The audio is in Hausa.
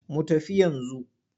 Mu tafi yanzu.